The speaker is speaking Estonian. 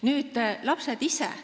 Nüüd lapsed ise.